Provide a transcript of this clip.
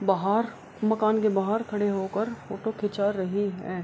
बाहर मकान के बाहर ख़ड़े होकर फोटो खींचा रहे हैं |